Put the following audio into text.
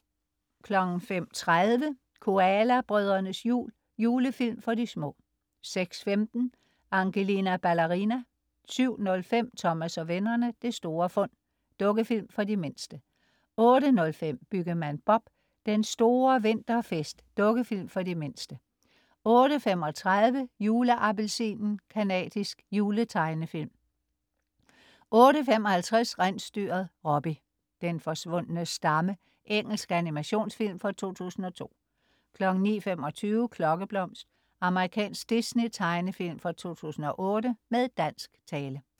05.30 Koala brødrenes jul. Julefilm for de små 06.15 Angelina Ballerina 07.05 Thomas og vennerne: Det store fund. Dukkefilm for de mindste 08.05 Byggemand Bob: Den store vinterfest. Dukkefilm for de mindste 08.35 Juleappelsinen. Canadisk juletegnefilm 08.55 Rensdyret Robbie: Den forsvundne stamme. Engelsk animationsfilm fra 2002 09.25 Klokkeblomst. Amerikansk Disney tegnefilm fra 2008 med dansk tale